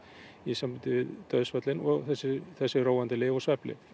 í sambandi við dauðsföllin og þessi þessi róandi lyf og svefnlyf